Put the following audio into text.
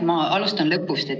Ma alustan lõpust.